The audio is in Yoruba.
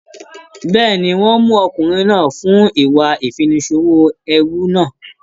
Bẹ́ẹ̀ni, wọ́n ń mú ọkùnrin náà fún ìwà ìfiniṣòwò ẹrú náà.